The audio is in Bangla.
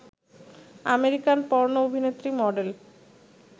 আমেরিকান পর্ণো অভিনেত্রী, মডেল